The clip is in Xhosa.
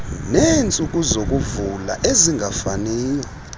neentsuku zokuvula ezingafaniyo